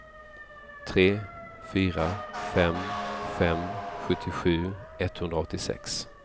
tre fyra fem fem sjuttiosju etthundraåttiosex